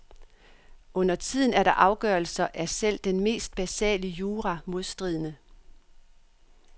Undertiden er deres afgørelser af selv den mest basale jura modstridende.